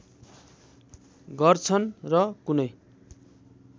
गर्छन् र कुनै